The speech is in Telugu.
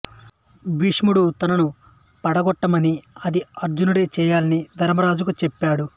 భీష్ముడు తనను పడగొట్టమని అది అర్జునుడే చేయాలని ధర్మరాజుకు చెప్పాడు